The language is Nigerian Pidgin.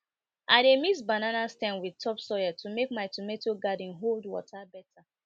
i dey mix banana stem with top soil to make my tomato garden hold water better